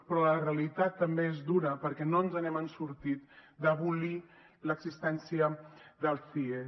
però la realitat també és dura perquè no ens n’hem sortit d’abolir l’existència dels cies